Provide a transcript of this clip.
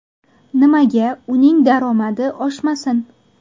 Nimaga uning daromadi oshmasin?